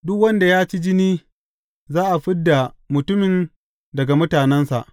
Duk wanda ya ci jini, za a fid da mutumin daga mutanensa.’